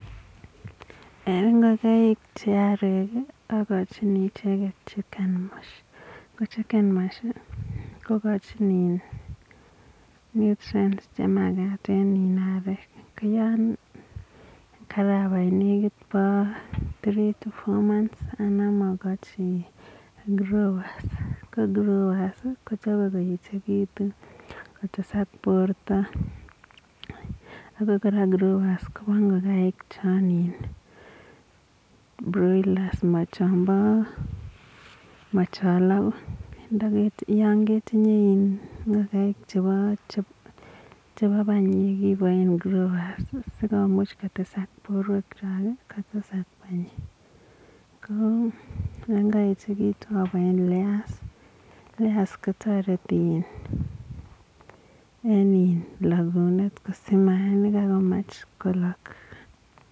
En ngogaik che arek agochini icheget chicken mush, gochi nutrients che magat en arek. Karabai negit koit three to four months, anan agochi growers, si kotesat borto. Growers koba ngokaik che ba broilers. Yan ketinye ngogaek chepa panyek ipaisien growers. Yan kaechekitun apayen layers.